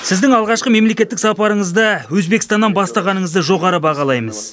сіздің алғашқы мемлекеттік сапарыңызды өзбекстаннан бастағаныңызды жоғары бағалаймыз